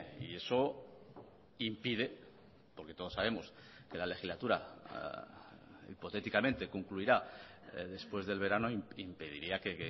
y eso impide porque todos sabemos que la legislatura hipotéticamente concluirá después del verano impediría que